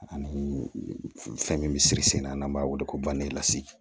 Ani fɛn min bɛ siri sen na n'an b'a wele ko